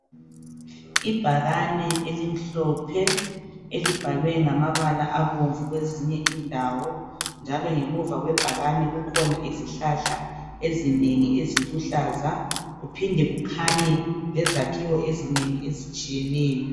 Ibhakane elimhlophe elibhalwe ngamabala amhlophe kwezinye indawo njalo ngemva kwebhakani kukhona izihlahla eziluhlaza kuphinde kukhanye izakhiwo ezinengi ezitshiyeneyo